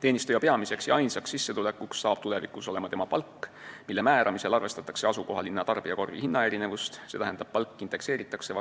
Teenistuja peamine ja ainus sissetulek on tulevikus tema palk, mille määramisel arvestatakse asukohalinna tarbijakorvi hinnaerinevust, st see indekseeritakse